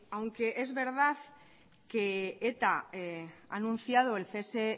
aunque es verdad que eta ha anunciado el cese